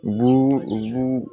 U b'u u b'u